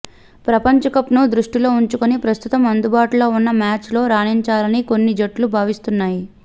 ప్రపంచకప్ను దృష్టిలో ఉంచుకుని ప్రస్తుతం అందుబాటులో ఉన్న మ్యాచ్లలో రాణించాలని కొన్ని జట్లు భావిస్తున్నాయి